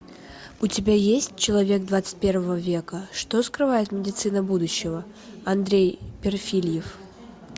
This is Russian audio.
у тебя есть человек двадцать первого века что скрывает медицина будущего андрей перфильев